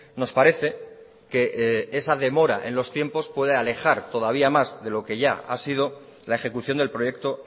nos parece que esa demora en los tiempo puede alejar todavía más de lo que ya ha sido la ejecución del proyecto